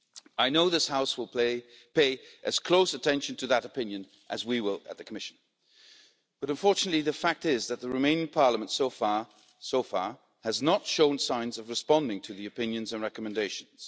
I know this House will pay as close attention to that opinion as we will at the Commission, but unfortunately the fact is that the Romanian Parliament has so far not shown signs of responding to the opinions and recommendations.